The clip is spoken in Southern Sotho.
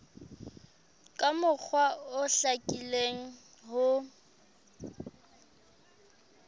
ka mokgwa o hlakileng ho